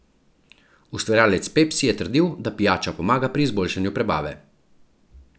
Ustvarjalec Pepsi je trdil, da pijača pomaga pri izboljšanju prebave.